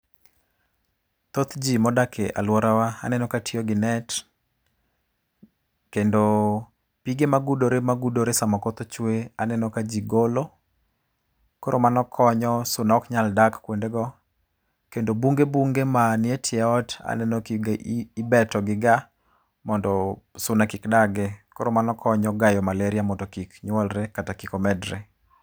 Thothji modak e aluorawa aneno ka tiyo gi net, kendo pige magudore magudore sama koth ochwe, aneno ka ji golo. Koro mano konyo suna ok nyal dak kuondego. Kendo bunge bunge man etie ot aneno ka ibeto giga mondo suna kik dagie. Koro mano konyo gayo malaria mondo kik nyuolre kata kik omedre.